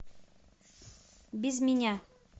без меня